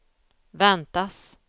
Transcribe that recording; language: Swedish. väntas